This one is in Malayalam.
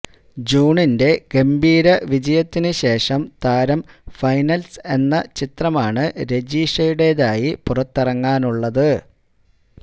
ജൂണിന്റെ ഗംഭീര വിജയത്തിന് ശേഷം താരം ഫൈനല്സ് എന്ന ചിത്രമാണ് രജിഷയുടെതായി പുറത്തിറങ്ങാനുള്ളത്